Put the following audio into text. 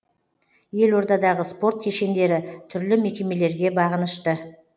елордадағы спорт кешендері түрлі мекемелерге бағынышты